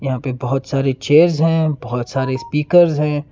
यहां पे बहुत सारी चेयर्स हैं बहुत सारे स्पीकर्स हैं।